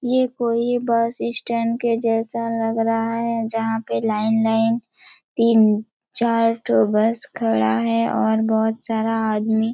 ये कोई bus stand के जैसा लग रहा हैं जहाँ पे लाइन - लाइन तीन चार ठो बस खड़ा हैं और बहोत सारा आदमी --